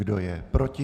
Kdo je proti?